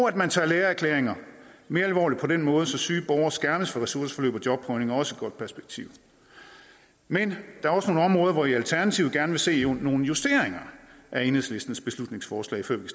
at man tager lægeerklæringer mere alvorligt på en måde så syge borgere skærmes for ressourceforløb og jobprøvning er også et godt perspektiv men der er også nogle områder hvor vi i alternativet gerne vil se nogle justeringer af enhedslistens beslutningsforslag før vi